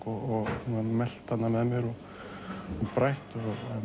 og melt hana með mér og brætt